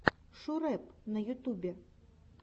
шурэп на ютубе